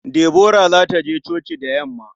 Deborah za ta je coci da yamma.